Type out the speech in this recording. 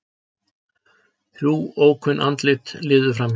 Þrjú ókunn andlit liðu framhjá.